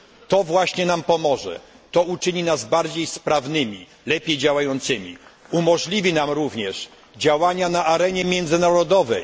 To właśnie nam pomoże, to uczyni nas bardziej sprawnymi, lepiej działającymi, umożliwi nam również działania na arenie międzynarodowej.